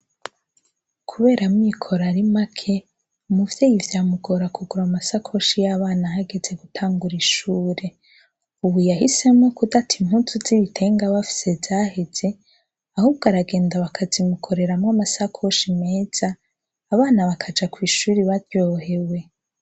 kubera amikoro arimake umuvyeyi vyamugora kugura amasakoshi yabana hageze gutangura ishure ubu yahisemo kudata impuzu z'ibitenge aba afise zaheze ahubwo aragenda bakamukoreramwo amasakoshi meza abana bakaja kw'ishure baryohewe.